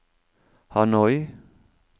Hanoi